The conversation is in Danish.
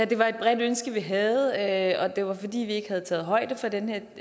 det var et bredt ønske vi havde og at det var fordi vi ikke havde taget højde for den